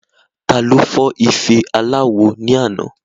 Taló fọ́ ife aláwo ní àná